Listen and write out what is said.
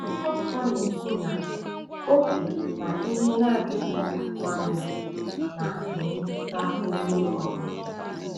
Akwụkwọ Nsọ na-ekwu na “oge na ihe na-adịghị atụ anya” na-emetụta onye ọ bụla.